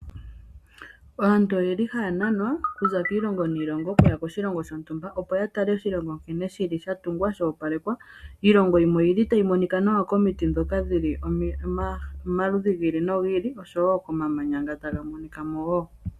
Aantu oye li ha ya nanwa kuza kiilongo niilongo oku ya koshilongo shontumba, opo ya tale oshilongo nkene shi li sha tungwa sha opalekwa. Iilongo yimwe oyi li tayi monika nawa komiti ndhoka dhi li omaludhi gi ili nogi ili oshowo komamanya nga taga monika mo wo.